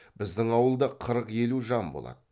біздің ауылда қырық елу жан болады